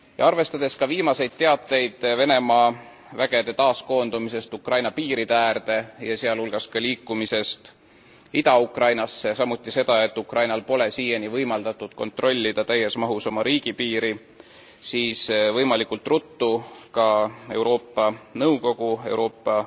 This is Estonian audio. Arvestades viimaseid teateid Venemaa vägede taaskoondumisest Ukraina piiride äärde, sealhulgas ka liikumisest Ida Ukrainasse, ja samuti seda, et Ukrainal ei ole siiani võimaldatud kontrollida täies mahus oma riigipiiri, siis peaksid ka Euroopa Liidu Nõukogu ja Euroopa